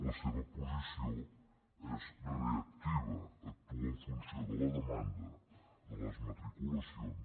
la seva posició és reactiva actua en funció de la demanda de les matriculacions